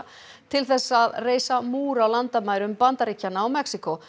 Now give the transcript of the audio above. til þess að reisa múr á landamærum Bandaríkjanna og Mexíkó